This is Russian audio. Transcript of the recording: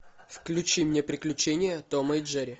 включи мне приключения тома и джерри